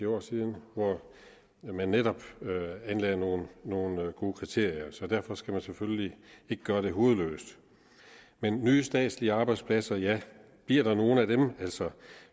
år siden hvor de netop anlagde nogle nogle gode kriterier så derfor skal man selvfølgelig ikke gøre det hovedløst men nye statslige arbejdspladser ja bliver der nogle af dem